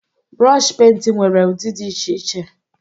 Brooshi penti nwere ụdị dị iche iche